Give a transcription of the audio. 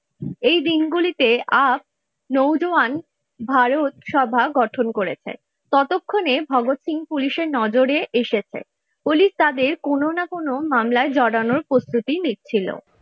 এই দিনগুলিতে আপ নওজোয়ান ভারত সভা গঠন করেছে ততক্ষণে ভগৎ সিং পুলিশের নজরে এসেছে পুলিশ তাদের কোন না কোন মামলায় জড়ানোর প্রস্তুতি নিচ্ছিল।